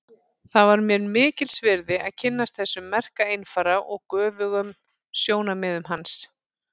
Það var mér mikils virði að kynnast þessum merka einfara og göfugum sjónarmiðum hans.